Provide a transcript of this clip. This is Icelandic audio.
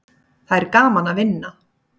Það er gaman að vinna.